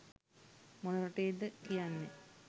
මොන රටේද කියන්නේ